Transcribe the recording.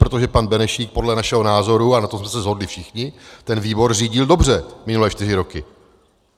Protože pan Benešík podle našeho názoru, a na tom jsme se shodli všichni, ten výbor řídil dobře minulé čtyři roky.